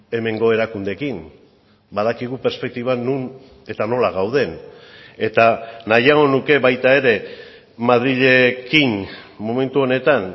hemengo erakundeekin badakigu perspektiba non eta nola gauden eta nahiago nuke baita ere madrilekin momentu honetan